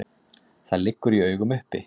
Það liggur í augum uppi.